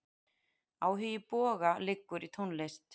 Áhugi Boga liggur í tónlist.